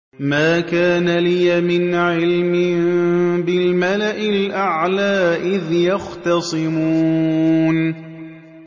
مَا كَانَ لِيَ مِنْ عِلْمٍ بِالْمَلَإِ الْأَعْلَىٰ إِذْ يَخْتَصِمُونَ